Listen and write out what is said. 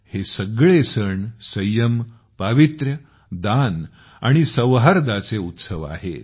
हे सगळे सण संयम पवित्रता दान आणि सौहार्दाचे उत्सव आहेत